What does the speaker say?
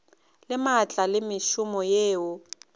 le maatla le mešomo yeo